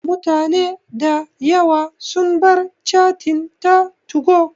Mutane da yawa sun bar cattin ta 2go